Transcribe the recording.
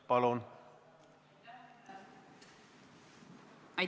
Palun!